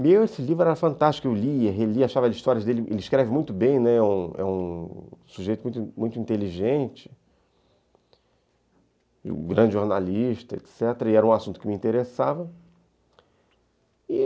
Meu, esse livro era fantástico, eu li, relia, achava as histórias dele, ele escreve muito bem, né, é um é um sujeito muito inteligente, um grande jornalista, etc., e era um assunto que me interessava.